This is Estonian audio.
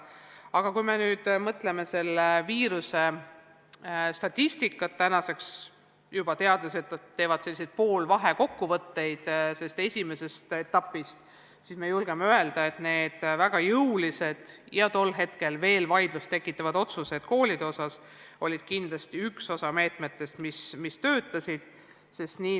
Aga kui me nüüd mõtleme selle viiruse statistika peale – praegu teadlased juba teevad selliseid poolvahekokkuvõtteid sellest esimesest etapist –, siis võime küll öelda, et need väga jõulised ja tol hetkel vaidlust tekitanud otsused koolide töö osas olid kindlasti meetmed, mis töötasid.